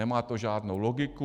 Nemá to žádnou logiku.